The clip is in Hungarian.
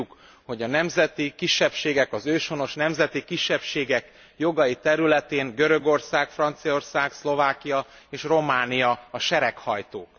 Tudjuk, hogy a nemzeti kisebbségek, az őshonos nemzeti kisebbségek jogai területén Görögország, Franciaország, Szlovákia és Románia a sereghajtó.